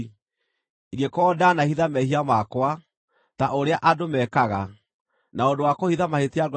ingĩkorwo ndaanahitha mehia makwa, ta ũrĩa andũ meekaga, na ũndũ wa kũhitha mahĩtia ngoro-inĩ yakwa